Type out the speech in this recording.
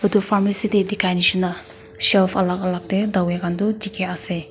etu pharmacy te dikhia nishi na shelf alak alak te dawai khan toh dikhi ase.